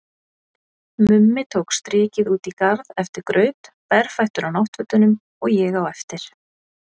Mummi tók strikið út í garð eftir graut, berfættur á náttfötunum, og ég á eftir.